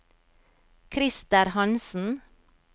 Krister Hansen